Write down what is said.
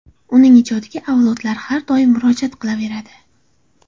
Uning ijodiga avlodlar har doim murojaat qilaveradi.